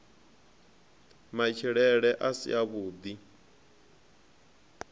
matshilele a si a vhui